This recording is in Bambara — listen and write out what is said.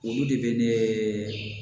Olu de bɛ ne